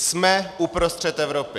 Jsme uprostřed Evropy.